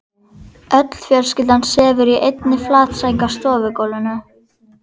Öll fjölskyldan sefur í einni flatsæng á stofugólfinu.